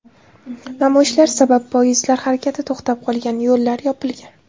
Namoyishlar sabab poyezdlar harakati to‘xtab qolgan, yo‘llar yopilgan.